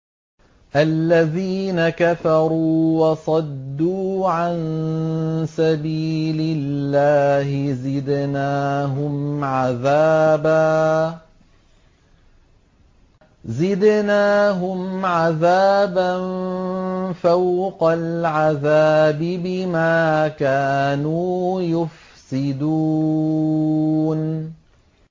الَّذِينَ كَفَرُوا وَصَدُّوا عَن سَبِيلِ اللَّهِ زِدْنَاهُمْ عَذَابًا فَوْقَ الْعَذَابِ بِمَا كَانُوا يُفْسِدُونَ